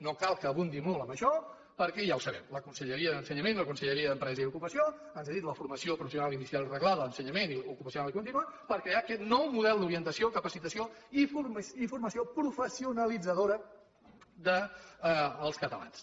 no cal que abundi molt en això perquè ja ho sabem la conselleria d’ensenyament i la conselleria d’empresa i ocupació han cedit la formació professional inicial i reglada a ensenyament ocupacional i continu per crear aquest nou model d’orientació capacitació i formació professionalitzadora dels catalans